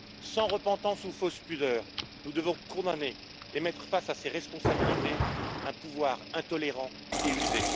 Sans repentance ou fausse pudeur, nous devons condamner et mettre face à ses responsabilités un pouvoir intolérant et usé.